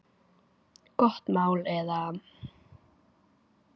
Gott mál eða?